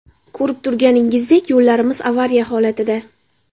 Ko‘rib turganingizdek, yo‘llarimiz avariya holatida.